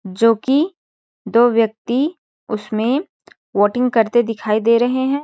जो कि दो व्यक्ति उसमें वोटिंग करते दिखाई दे रहे है।